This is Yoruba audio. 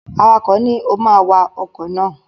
Awakọ̀ ni, "o ma wa ọkọ̀ náà!"